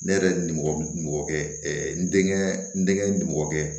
Ne yɛrɛ ye mɔgɔ kɛ n denkɛ n tɛ mɔgɔ kɛ